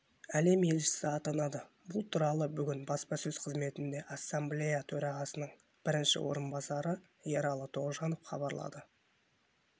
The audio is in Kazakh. әлем елшісі атанады бұл туралы бүгін баспасөз қызметінде ассамблея төрағасының бірінші орынбасары ералы тоғжанов хабарлады